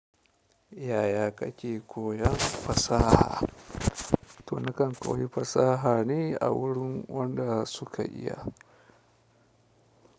Yaya ka ke koyan fasaha? To nakan koyi fusahabe awurin wanda suka iya.